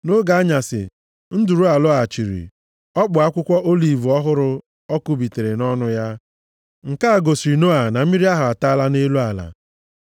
Nʼoge anyasị, nduru a lọghachiri. Ọ kpụ akwụkwọ oliv ọhụrụ ọ kụbitere nʼọnụ ya. Nke a gosiri Noa na mmiri ahụ ataala nʼelu ala.